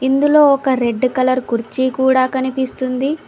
ఇందులో ఒక red colour కుర్చీ కూడా కనిపిస్తుంది.